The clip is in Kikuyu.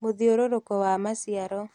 Mũthiũrũrũko wa maciaro